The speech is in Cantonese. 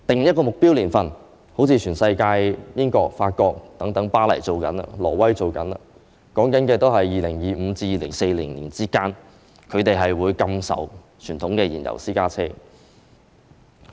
以"目標"來說，全世界例如英國、法國巴黎、挪威等地均已定下目標年份，即在2025年至2040年之間，開始禁售傳統燃油私家車。